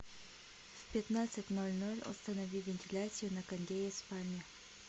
в пятнадцать ноль ноль установи вентиляцию на кондее в спальне